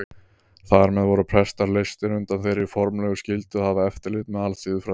Þar með voru prestar leystir undan þeirri formlegu skyldu að hafa eftirlit með alþýðufræðslu.